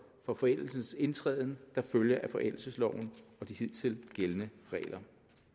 for forældelsens indtræden der følger af forældelsesloven og de hidtil gældende regler